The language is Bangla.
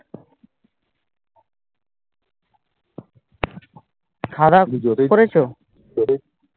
খাওয়া দাওয়া করেছো হ্যা খাওয়া দাওয়া করেছি